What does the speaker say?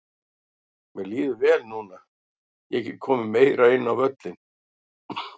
Mér líður vel núna, ég get komið meira inn á völlinn.